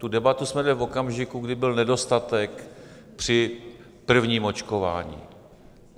Tu debatu jsme vedli v okamžiku, kdy byl nedostatek při prvním očkování.